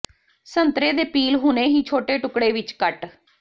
ਸੰਤਰੇ ਦੇ ਪੀਲ ਹੁਣੇ ਹੀ ਛੋਟੇ ਟੁਕੜੇ ਵਿੱਚ ਕੱਟ